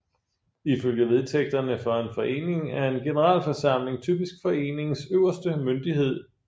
Ifølge vedtægterne for en forening er en generalforsamling typisk foreningens øverste myndighed